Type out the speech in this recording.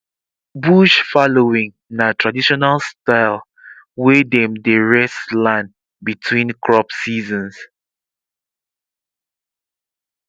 bush fallowing na traditional style wey dem dey rest land between crop seasons